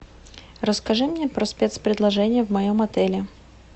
расскажи мне про спец предложения в моем отеле